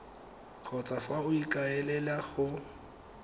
kgotsa fa o ikaelela go